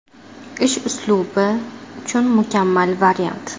Ish uslubi uchun mukammal variant.